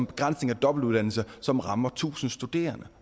begrænsning af dobbeltuddannelse som rammer tusind studerende